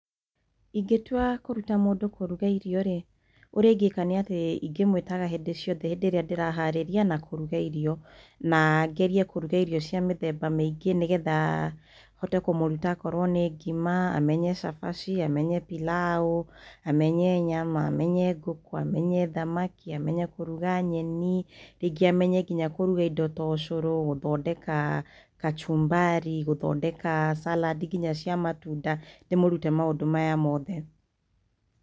Ingitua kũruta mũndũ kũruga irio rĩ, ũrĩa ingĩka nĩ atĩ ingĩmwĩtaga hĩndĩ ciothe, hĩndĩ ĩrĩa ndĩra harĩria na kũruga irio, na ngerie kũruga irio cia mĩthemba mĩingĩ nĩgetha hote kũmũruta, okorwo nĩ ngima, amenya cabaci, amenye pilaũ, amenye nyama, amenye ngũkũ, amenye thamaki, amenye kũruga nyeni. Rĩngĩ amenye nginya kũruga indo ta ũcũrũ, gũthondeka kachumbari, gũthondeka salad nginya cia matunda, ndĩmũrute maũndũ maya mothe.